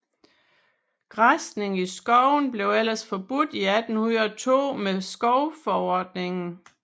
Græsning i skovene blev ellers forbudt i 1802 med skovforordningen